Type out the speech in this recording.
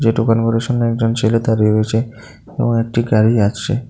যে দোকানগুলির সামনে একজন ছেলে দাঁড়িয়ে রয়েছে এবং একটি গাড়ি আছে।